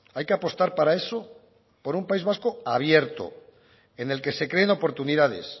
hay que apostar para eso por un país vasco abierto en el que se creen oportunidades